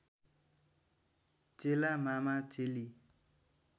चेला मामा चेली